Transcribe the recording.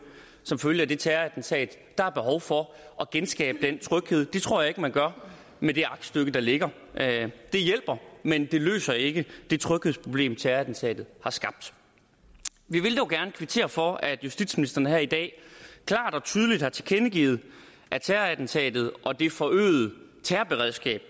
som følge af terrorattentatet der er behov for at genskabe trygheden det tror jeg ikke man gør med det aktstykke der ligger det hjælper men det løser ikke det tryghedsproblem terrorattentatet har skabt vi vil dog gerne kvittere for at justitsministeren her i dag klart og tydeligt har tilkendegivet at terrorattentatet og det forøgede terrorberedskab